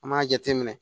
An b'a jateminɛ